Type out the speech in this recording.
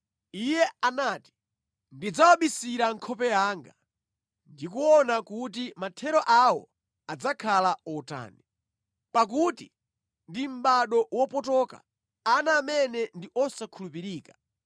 Iye anati, “Ndidzawabisira nkhope yanga, ndi kuona kuti mathero awo adzakhala otani; pakuti ndi mʼbado wopotoka, ana amene ndi osakhulupirika.